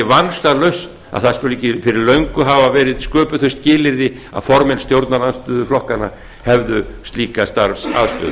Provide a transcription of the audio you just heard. vansalaust að ekki skuli fyrir löngu hafa verið sköpuð þau skilyrði að formenn stjórnarandstöðuflokkanna hefðu slíka starfsaðstöðu